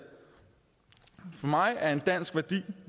for mig er en dansk værdi